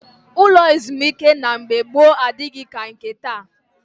Ụlọ ezumike na mgbe gboo adịghị ka nke taa